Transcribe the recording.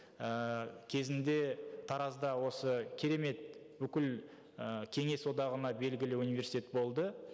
ыыы кезінде таразда осы керемет бүкіл ы кеңес одағына белгілі университет болды